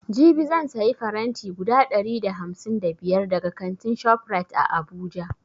Jibi zan sayi faranti guda ɗari da hamsin da biyar daga kantin shoprite a abuja